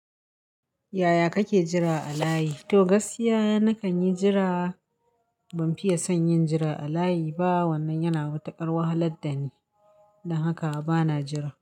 Yaya kake jira a layi? To gaskiya nakan yi jira, ban fiye son yin jira a layi ba wannan yana mataƙar wahalar dani, don haka bana jira.